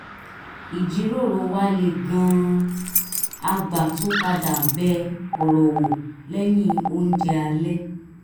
ìjíròrò wá le gan-an a gbà tún padà bẹ ọ̀rọ̀ wò lẹ́yìn oúnjẹ alẹ́